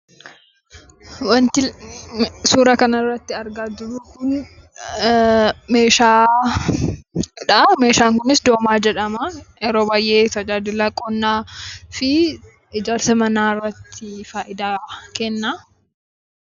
Wanti suuraa kanarratti argaa jirru kun meeshaadha. Meeshaan kunis doomaa jedhama. Yeroo baayyee tajaajila qonnaafi ijaarsa manaarratti fayidaa kenna.